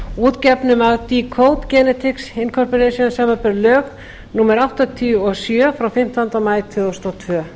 útgefnum af decode genetics inc samanber lög númer áttatíu og sjö frá fimmtánda maí tvö þúsund og tvö